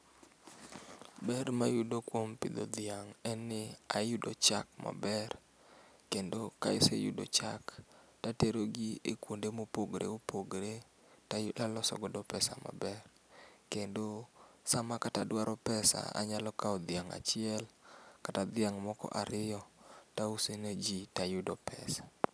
Ber mayudo kuom pidho dhiang' en ni ayudo chak maber kendo kaaseyudo chak to aterogi ekuonde ma opogore opogore to aloso godo pesa maber to kendo sama kataduaro pesa to ayalo kawo dhiang' achiel kata dhok moko ariyo to auso dhiang' to ayudo pesa.